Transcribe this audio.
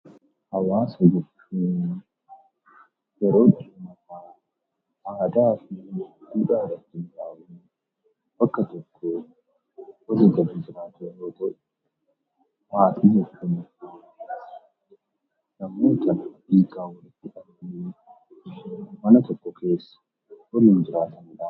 Hawwaasa jechuun yeroo namoonni aadaa fi duudhaa walfakkaataa qabaachuun naannoo tokko keessa jiraatan yammuu ta'u; maatii jechuun immoo dhiigaan walitti kan hidhamanii fi mama tokko keessa kan waliin jiraataniidha.